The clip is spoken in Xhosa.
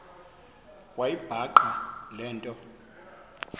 wayibhaqa le nto